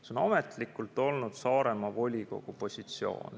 See on ametlikult olnud Saaremaa volikogu positsioon.